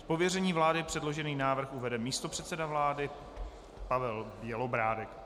Z pověření vlády předložený návrh uvede místopředseda vlády Pavel Bělobrádek.